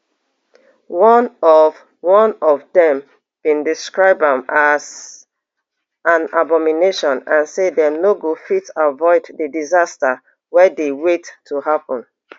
one of one of dem bin describe am as an abomination and say dem no go fit avoid di disaster wey dey wait to happun